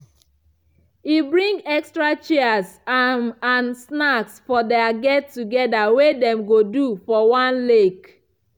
e bring extra chairs um and snacks for their get together wey them go do for one lake